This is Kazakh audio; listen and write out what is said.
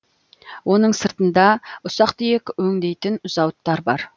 оның сыртында ұсақ түйек өңдейтін зауыттар бар